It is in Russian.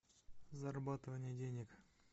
зарабатывание денег